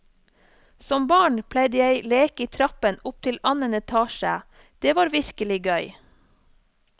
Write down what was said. Som barn pleide jeg leke i trappen opp til annenetasje, det var virkelig gøy.